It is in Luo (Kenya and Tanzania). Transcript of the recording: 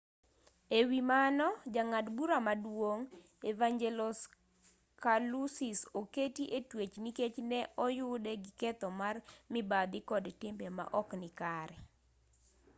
e wi mano jang'ad bura maduong' evangelos kalousis oketi e twech nikech ne oyude gi ketho mar mibadhi kod timbe maok nikare